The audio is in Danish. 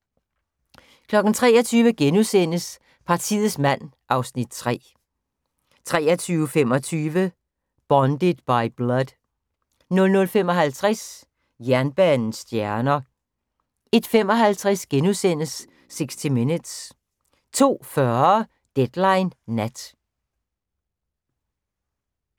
23:00: Partiets mand (Afs. 3)* 23:25: Bonded by Blood 00:55: Jernbanens stjerner 01:55: 60 Minutes * 02:40: Deadline Nat